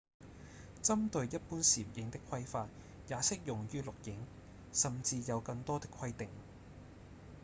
針對一般攝影的規範也適用於錄影甚至有更多的規定